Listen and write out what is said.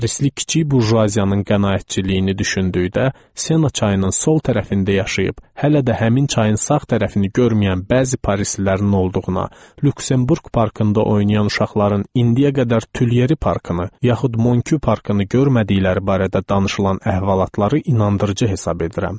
Parisli kiçik burjuaziyanın qənaətcilliyini düşündükdə, Sena çayının sol tərəfində yaşayıb hələ də həmin çayın sağ tərəfini görməyən bəzi parislilərin olduğuna, Lüksemburq parkında oynayan uşaqların indiyə qədər Tüyerri parkını, yaxud Monküy parkını görmədikləri barədə danışılan əhvalatları inandırıcı hesab edirəm.